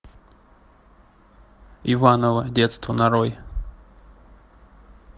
иваново детство нарой